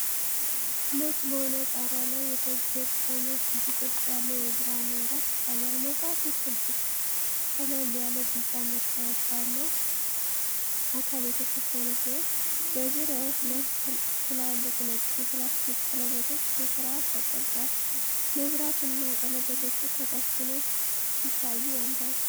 ነጭ በሆነ ጣሪያ ላይ የተገጠመ ክብ ቅርጽ ያለው የብርሃን መብራት ይታያል። መብራቱ ክብ፣ ቀለል ያለ ቢጫ መስታወት ባለው አካል የተሸፈነ ሲሆን፤ በዙሪያው ሁለት ትላልቅ ነጭ የፕላስተር ቀለበቶች በስርዓት ተቀርጸዋል። መብራቱና ቀለበቶቹ ከታች ሆነው ሲታዩ ያምራሉ።